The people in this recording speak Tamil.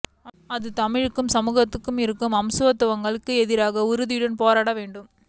அது தமிழ்ச் சமூகத்துக்குள் இருக்கும் அசமத்துவங்களுக்கு எதிராகவும் உறுதியுடன் போராட வேண்டும்